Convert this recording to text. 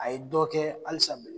A ye dɔ kɛ alisa bele